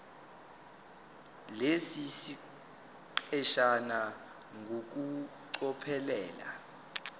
lesi siqeshana ngokucophelela